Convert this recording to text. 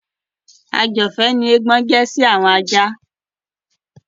Ajọ̀fẹ́ ni eégbọn jẹ́ sí àwọn ajá.